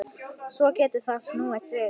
Svo getur þetta snúist við.